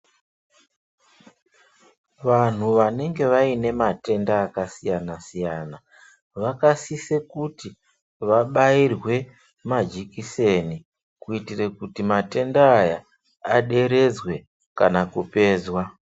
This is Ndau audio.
Vanhu vanenge vaine matenda akasiyana siyana vakasise kuti vabairwe majekiseni kuitira kuti matenda aya aderedzwe kana kupedzwa.